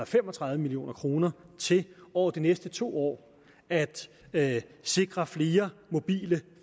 fem og tredive million kroner til over de næste to år at at sikre flere mobile